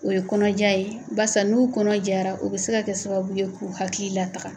O ye kɔnɔja ye basa n'u kɔnɔ jara u bɛ se ka kɛ sababu ye k'u hakili lataga.